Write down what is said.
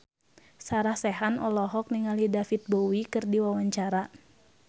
Sarah Sechan olohok ningali David Bowie keur diwawancara